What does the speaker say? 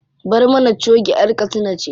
Barmana choge ƴar katsina ce.